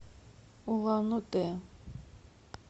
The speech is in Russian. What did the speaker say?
улан удэ